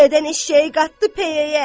Dədən eşşəyi qatdı peyəyə.